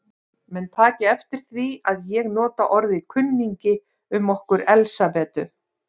Menn taki eftir því að ég nota orðið kunningi um okkur Elsabetu.